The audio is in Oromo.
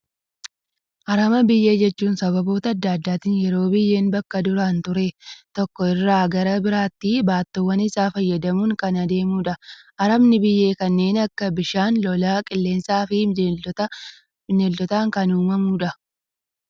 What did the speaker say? Harama biyyee jechuun, sababoota addaa addaatiin yeroo biyyeen bakka duraan ture tokko irraa gara biraatti baattoowwan isaa fayyadamuun kan adeemudha. Haramni biyyee kanneen akka bishaan lolaa, qilleensaan fi Bineeldotaan kan uumamudha.